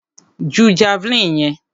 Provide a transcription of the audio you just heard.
Ju javeline yẹn!